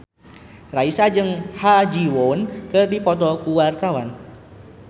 Raisa jeung Ha Ji Won keur dipoto ku wartawan